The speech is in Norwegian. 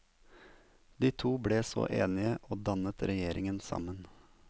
De to ble så enige og dannet regjering sammen.